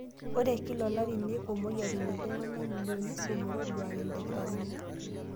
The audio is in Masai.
Ore kila olari, neiko moyiaritin iltung'ana milioni isiet metoduare ilkitarrini.